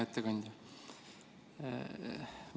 Hea ettekandja!